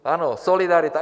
Ano, solidarita.